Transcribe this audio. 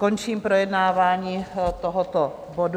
Končím projednávání tohoto bodu.